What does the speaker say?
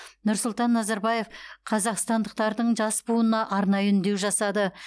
нұрсұлтан назарбаев қазақстандықтардың жас буынына арнайы үндеу жасады